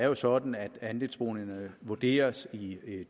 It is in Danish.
jo sådan at andelsboligerne vurderes i